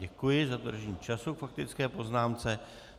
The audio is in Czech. Děkuji za dodržení času k faktické poznámce.